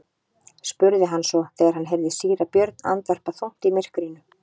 spurði hann svo þegar hann heyrði síra Björn andvarpa þungt í myrkrinu.